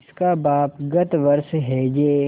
जिसका बाप गत वर्ष हैजे